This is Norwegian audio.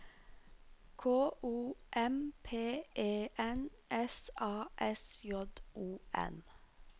K O M P E N S A S J O N